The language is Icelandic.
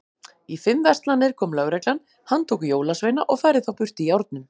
Í fimm verslanir kom lögreglan, handtók jólasveina og færði þá burt í járnum.